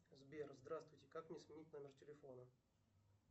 сбер здравствуйте как мне сменить номер телефона